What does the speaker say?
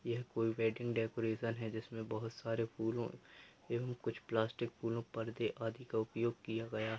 यह कोई wedding decoration है जिसमें बहुत सारे फूलों एवं कुछ प्लास्टिक फूलों पर्दो इत्यादि का प्रयोग किया गया।